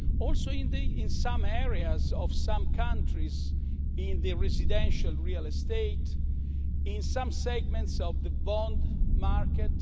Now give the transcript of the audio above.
Also in some areas of some countries in the residential real estate, in some segments of the bond market.